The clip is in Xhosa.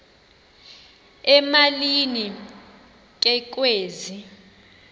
emalini ke kwezi